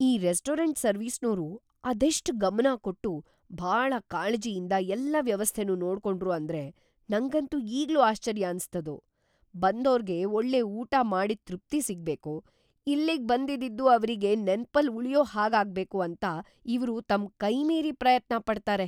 ಈ ರೆಸ್ಟೋರಂಟ್‌ ಸರ್ವಿಸ್ನೋರು ಅದೆಷ್ಟ್ ಗಮನ ಕೊಟ್ಟು, ಭಾಳ ಕಾಳಜಿಯಿಂದ ಎಲ್ಲ ವ್ಯವಸ್ಥೆನೂ ನೋಡ್ಕೊಂಡ್ರು ಅಂದ್ರೆ ನಂಗಂತೂ ಈಗ್ಲೂ ಆಶ್ಚರ್ಯ ಅನ್ಸತ್ತದು. ಬಂದೋರ್ಗೆ ಒಳ್ಳೆ ಊಟ ಮಾಡಿದ್‌ ತೃಪ್ತಿ ಸಿಗ್ಬೇಕು, ಇಲ್ಲಿಗ್‌ ಬಂದಿದ್ದಿದ್ದು ಅವ್ರಿಗ್ ನೆನ್ಪಲ್ಲ್‌ ಉಳ್ಯೋ ಹಾಗಾಗ್ಬೇಕು ಅಂತ ಇವ್ರು ತಮ್‌ ಕೈಮೀರಿ ಪ್ರಯತ್ನ ಪಡ್ತಾರೆ.